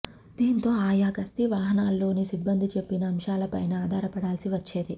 దీంతో ఆయా గస్తీ వాహనాల్లోని సిబ్బంది చెప్పిన అంశాల పైనే ఆధారపడాల్సి వచ్చేది